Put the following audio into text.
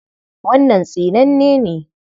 Wannan tsinanne ne.